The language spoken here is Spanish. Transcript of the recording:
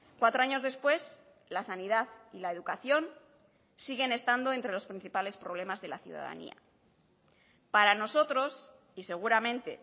cuatro años después la sanidad y la educación siguen estando entre los principales problemas de la ciudadanía para nosotros y seguramente